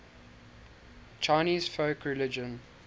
chinese folk religion